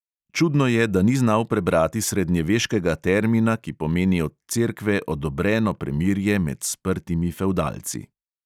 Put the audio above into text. Čudno je, da ni znal prebrati srednjeveškega termina, ki pomeni od cerkve odobreno premirje med sprtimi fevdalci.